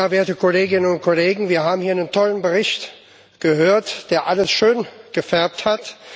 Werte Kolleginnen und Kollegen, wir haben hier einen tollen Bericht gehört, der alles schöngefärbt hat.